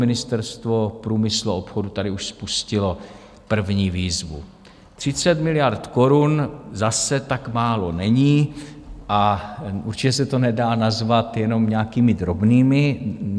Ministerstvo průmyslu a obchodu tady už spustilo první výzvu - 30 miliard korun zase tak málo není a určitě se to nedá nazvat jenom nějakými drobnými.